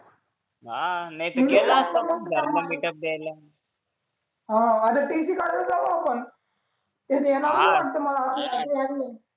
हा नाहीतर केला असता द्यायला हाय आता टीसी काढायला जाऊ आपण हा त्यांनी नेला पण वाटत असेल